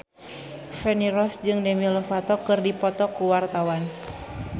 Feni Rose jeung Demi Lovato keur dipoto ku wartawan